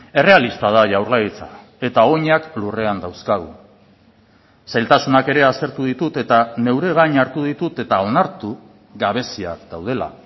errealista da jaurlaritza eta oinak lurrean dauzkagu zailtasunak ere aztertu ditut eta neure gain hartu ditut eta onartu gabeziak daudela